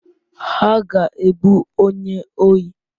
Ha ga-egbu onye ohi.